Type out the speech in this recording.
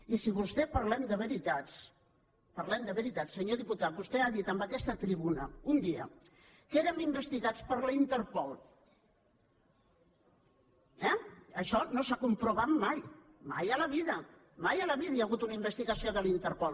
i si parlem de veritats parlem de veritats senyor diputat vostè ha dit en aquesta tribuna un dia que érem investigats per la interpol eh això no s’ha comprovat mai mai a la vida mai a la vida hi ha hagut una investigació de la interpol